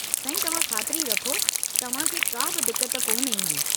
सांई तव्हां खातिरी रखो तव्हां खे काबि दिक्कत कोन ईंदी।